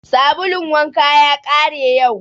Sabulun wanka ya ƙare yau